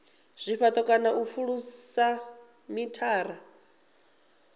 zwifhato kana u pfulusa mithara